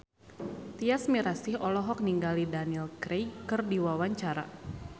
Tyas Mirasih olohok ningali Daniel Craig keur diwawancara